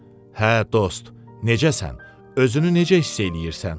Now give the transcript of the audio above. "Hə, dost, necəsən, özünü necə hiss eləyirsən?"